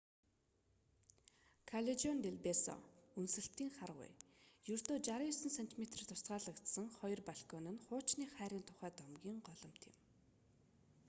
каллежон дел бесо үнсэлтийн харгуй. ердөө 69 сентиметрээр тусгаарлагдсан хоёр балкон нь хуучны хайрын тухай домгийн голомт юм